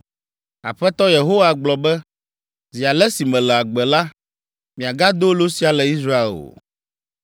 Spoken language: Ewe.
“Aƒetɔ Yehowa gblɔ be, ‘Zi ale si mele agbe la, miagado lo sia le Israel o.